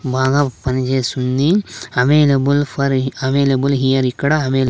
బాగా పనిచేస్తుంది available for available here ఇక్కడ అవైల--